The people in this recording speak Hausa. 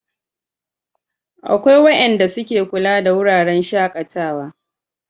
akwai wayanda su ke kula da wuraren shakatawa